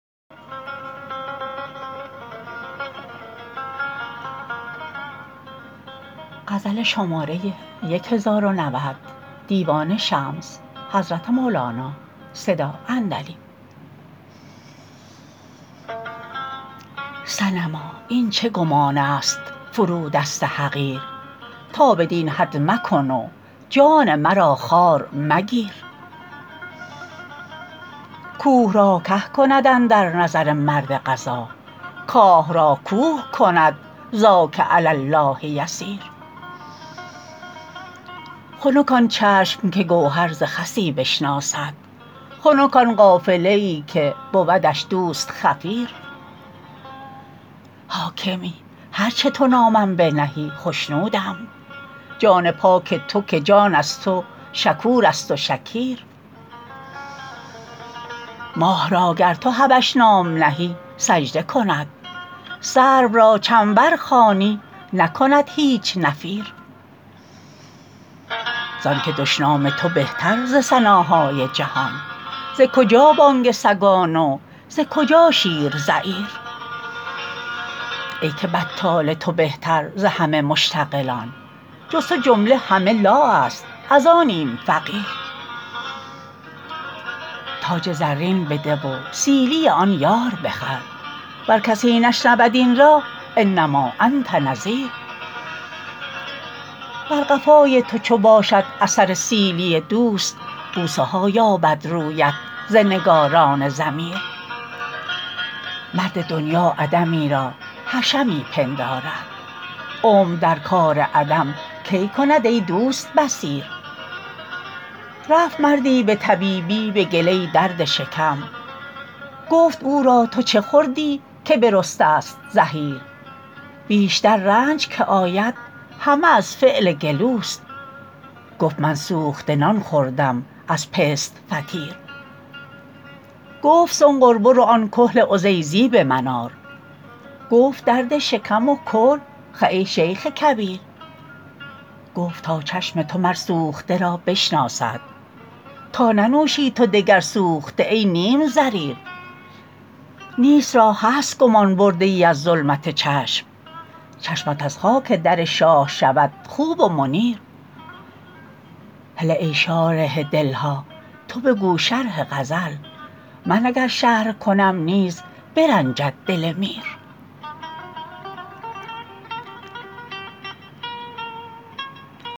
صنما این چه گمانست فرودست حقیر تا بدین حد مکن و جان مرا خوار مگیر کوه را که کند اندر نظر مرد قضا کاه را کوه کند ذاک علی الله یسیر خنک آن چشم که گوهر ز خسی بشناسد خنک آن قافله ای که بودش دوست خفیر حاکمی هر چه تو نامم بنهی خشنودم جان پاک تو که جان از تو شکورست و شکیر ماه را گر تو حبش نام نهی سجده کند سرو را چنبر خوانی نکند هیچ نفیر زانک دشنام تو بهتر ز ثناهای جهان ز کجا بانگ سگان و ز کجا شیر زییر ای که بطال تو بهتر ز همه مشتغلان جز تو جمله همه لا است از آنیم فقیر تاج زرین بده و سیلی آن یار بخر ور کسی نشنود این را انما انت نذیر بر قفای تو چو باشد اثر سیلی دوست بوسه ها یابد رویت ز نگاران ضمیر مرد دنیا عدمی را حشمی پندارد عمر در کار عدم کی کند ای دوست بصیر رفت مردی به طبیبی به کله درد شکم گفت او را تو چه خوردی که برسته است زحیر بیشتر رنج که آید همه از فعل گلوست گفت من سوخته نان خورده ام از پست فطیر گفت سنقر برو آن کحل عزیزی به من آر گفت درد شکم و کحل خه ای شیخ کبیر گفت تا چشم تو مر سوخته را بشناسد تا ننوشی تو دگر سوخته ای نیم ضریر نیست را هست گمان برده ای از ظلمت چشم چشمت از خاک در شاه شود خوب و منیر هله ای شارح دل ها تو بگو شرح غزل من اگر شرح کنم نیز برنجد دل میر